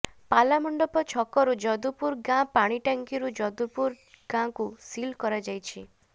ପାଲାମଣ୍ଡପ ଛକରୁ ଯଦୁପୁର ଗାଁ ପାଣିଟାଙ୍କିରୁ ଯଦୁପୁର ଗାଁକୁ ସିଲ୍ କରାଯାଇଛି